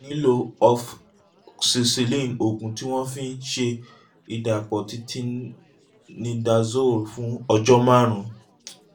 o lè nílò ofoxacilin oògùn tí wọ́n fi ń ń ṣe ìdàpọ̀ ti tinidazole fún ọjọ́ márùn-ún